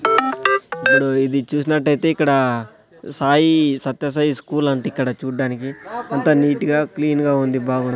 ఇబుడు చూసినట్టయితే ఇక్కడ సాయి సత్య సాయి స్కూల్ అంట ఇక్కడ చూడ్డానికి అంతా నీట్ గా క్లీన్ గా ఉంది బాగుం --